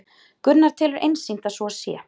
Gunnar telur einsýnt að svo sé